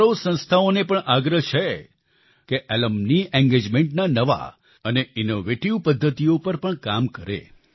મારો સંસ્થાઓને પણ આગ્રહ છે કે એલ્યુમની engagementના નવા અને ઇનોવેટિવ પદ્ધતિઓ પર કામ કરે